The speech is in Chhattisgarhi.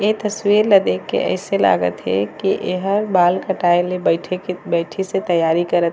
ये तसवीर ला देख के अइसे लागत हे की एहा बाल कटाए ला बइठिस तैयारी करत हे।